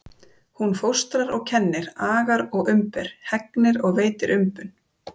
Hún fóstrar og kennir, agar og umber, hegnir og veitir umbun.